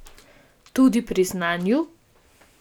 Tudi pri znanju?